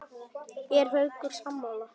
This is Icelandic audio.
Er Haukur sammála því?